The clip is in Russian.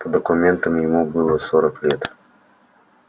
по документам ему было сорок лет